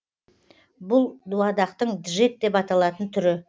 бұл дуадақтың джек деп аталатын түрі